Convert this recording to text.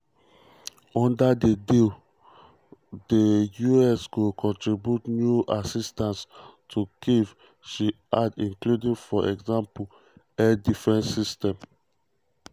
under di deal di us go contribute new assistance to kyiv she add including for example air defence um systems.